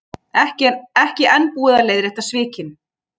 Ekki enn búið að leiðrétta svikin